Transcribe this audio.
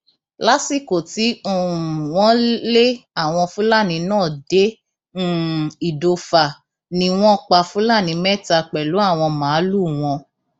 lásìkò tí um wọn lé àwọn fúlàní náà dé um ìdòfà ni wọn pa fúlàní mẹta pẹlú àwọn màálùú wọn